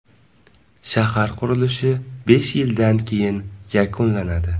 Shahar qurilishi besh yildan keyin yakunlanadi.